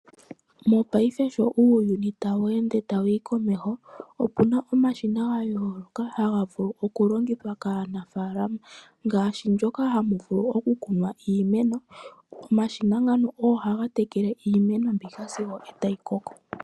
Mopaife sho uuyuni tawu ende wuuka komeho opuna omashina ga yooloka haga vulu oku longithwa kaanafaalama, ngaashi ndjoka hamu vulu oku kunwa iimeno. Omashina ngano ogo haga tekele iimeno mbika sigo eta yi koko.